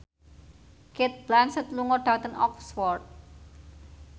Cate Blanchett lunga dhateng Oxford